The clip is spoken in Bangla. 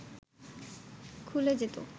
খুলে যেত